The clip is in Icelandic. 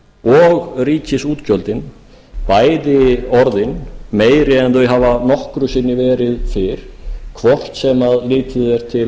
og ríkisútgjöldin bæði orðin meiri en þau hafa nokkru sinni verið fyrr hvort sem litið